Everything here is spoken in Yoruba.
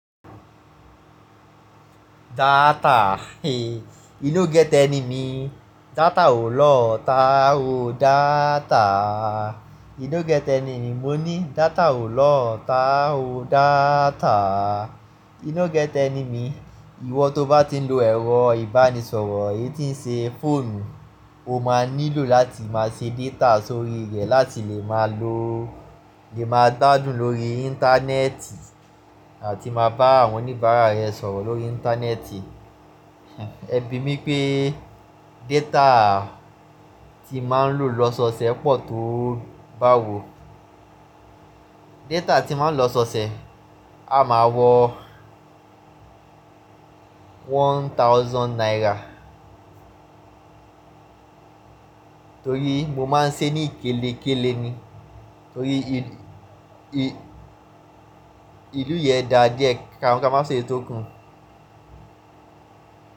Data, inú gẹ́tẹ̀ ni mí, data ò lọ́ ta ò data. E no get enemy, mo ní data ò lọ́ ta ò data. E no get enemy, ìwọ tó bá ti ń lo ẹ̀rọ ìbánisọ̀rọ̀, èyí tí ń ṣe fóònù, o máa nílò láti máa ṣe data sórí rẹ̀ láti lè máa gbádùn lórí Íńtánẹ́ẹ̀tì àti máa bá àwọn oníbàárà rẹ sọ̀rọ̀ lórí Íńtánẹ́ẹ̀tì. Ẹbí mi pé data tí máa ń lò lọ́sọọsẹ̀ pọ̀ tó báwo. Data tí máa ń lò lọ́sọọsẹ̀ a máa wọ one thousand naira. Torí mo máa ń sé ní ikélekéle ni, torí ìlù yẹn dàa díẹ̀, ká máa sọ eyii tókùn.